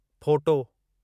photo